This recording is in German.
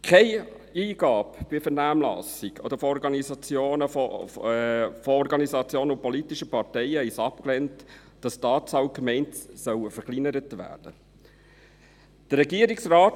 Keine Eingabe in der Vernehmlassung von Organisationen und politischen Parteien lehnte es ab, dass die Anzahl der Gemeinden verringert werden soll.